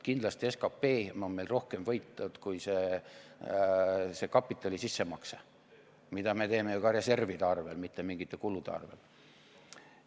Kindlasti on SKP meil rohkem võitnud kui see kapitali sissemakse, mida me teeme ju ka reservide arvel, mitte mingite kulude arvel.